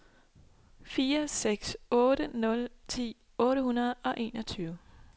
fire seks otte nul ti otte hundrede og enogtyve